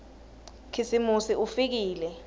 khisimusi ufikile